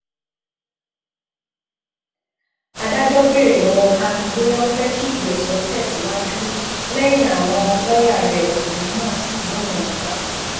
adájọ béèrè lọwọ kánú bóyá ó fẹẹ kígbèéso tẹsíwájú lẹyìn àwọn lọọyà rẹ ọkùnrin náà sì lóun ò gbà